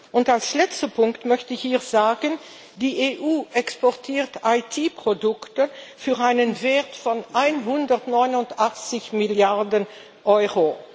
Und als letzten Punkt möchte ich hier sagen Die EU exportiert IT Produkte im Wert von 189 Milliarden Euro.